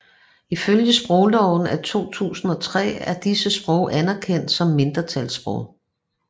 Ifølge sprogloven af 2003 er disse sprog anerkendte som mindretalssprog